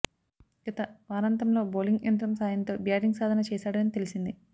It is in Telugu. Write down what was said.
గత వారంతంలో బౌలింగ్ యంత్రం సాయంతో బ్యాటింగ్ సాధన చేశాడని తెలిసింది